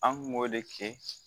An kun b'o de kɛ